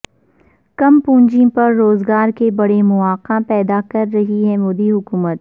کم پونجی پر روزگارکے بڑے مواقع پیدا کررہی ہے مودی حکومت